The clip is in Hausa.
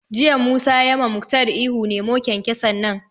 Jiya Musa ya ma Muktar ihu 'Nemo kyankyason nan'!